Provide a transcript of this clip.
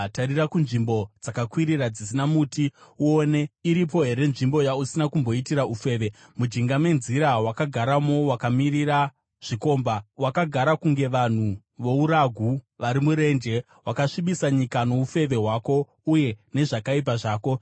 “Tarira kunzvimbo dzakakwirira dzisina miti uone. Iripo here nzvimbo yausina kumboitira ufeve? Mujinga menzira wakagaramo wakamirira zvikomba, wakagara kunge vanhu vouragu vari murenje. Wakasvibisa nyika noufeve hwako uye nezvakaipa zvako.